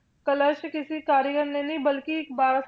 ਕਲਸ਼ ਕਿਸੇ ਕਾਰੀਗਰ ਨੇ ਨੀ ਬਲਕਿ ਇੱਕ ਬਾਰਾਂ